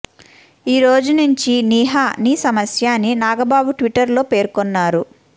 ఈ రోజు నుంచి నిహా నీ సమస్య అని నాగబాబు ట్విట్టర్ లో పేర్కొన్నారు